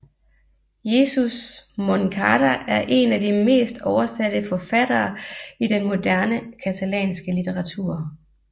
Jesús Moncada er en af de mest oversatte forfattere i den moderne catalanske litteratur